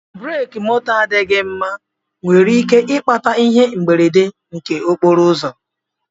Breki moto adịghị mma nwere ike ikpata ihe mberede nke okporo ụzọ